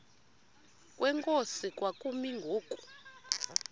kwenkosi kwakumi ngoku